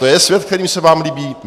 To je svět, který se vám líbí?